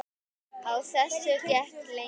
Á þessu gekk lengi.